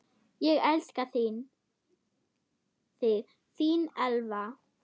Ég elska þig, þín Elva.